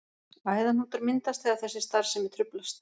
Æðahnútar myndast þegar þessi starfsemi truflast.